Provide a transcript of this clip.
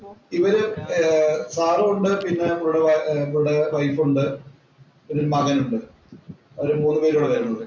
ഇവര് ഏർ സാറും ഉണ്ട്. പിന്നെ കൂടെ വൈ കൂടെ വൈഫ് ഉണ്ട്. പിന്നെ മകന്‍ ഉണ്ട്. അവര് മൂന്നുപേരും കൂടിയാണ് വരുന്നത്.